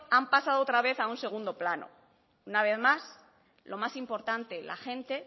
han pasado otra vez a un segundo plano una vez más lo más importante la gente